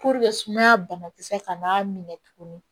sumaya banakisɛ kana n'a minɛ tuguni